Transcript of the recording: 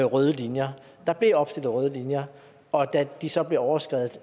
røde linjer der blev opstillet røde linjer og da de så blev overskredet